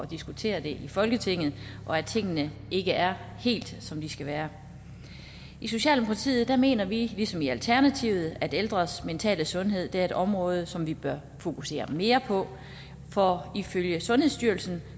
diskutere det i folketinget og at tingene ikke er helt som de skal være i socialdemokratiet mener vi ligesom i alternativet at ældres mentale sundhed er et område som vi bør fokusere mere på for ifølge sundhedsstyrelsen